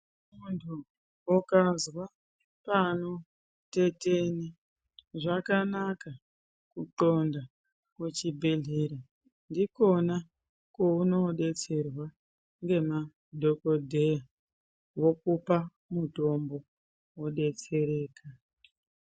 Muntu ukazwa panotetena, zvakanaka kutxonda kuchibhedhlera, ndikona kweunodetserwa ngemadhogodheya vokupa mutombo, wodetsereka.